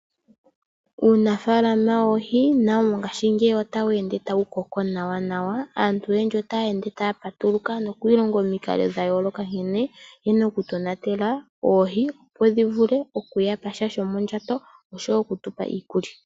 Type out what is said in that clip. Uunafalama wOohii nawo ngashi ngeyi otawende tawukoko Nawa nawa, Aantu oyendji ota yeende taya patuluka, Nokwilonga omiinkalo dhayoloka nkene yena oku tonatela Oohii opo dhivule oku yapasha shomondjato oshowo okutupa iikulya.